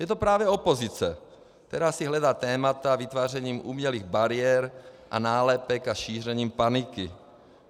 Je to právě opozice, která si hledá témata vytvářením umělých bariér a nálepek a šířením paniky.